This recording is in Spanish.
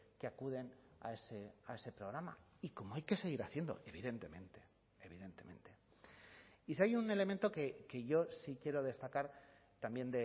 que acuden a ese programa y como hay que seguir haciendo evidentemente evidentemente y si hay un elemento que yo sí quiero destacar también